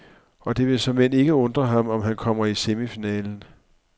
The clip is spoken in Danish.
Og det vil såmænd ikke undre ham, om han kommer i semifinalen.